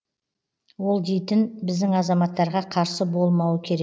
ол дейтін біздің азаматтарға қарсы болмауы керек